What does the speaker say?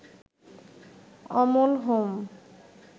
Amal home